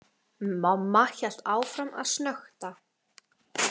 Mamma hélt áfram að snökta.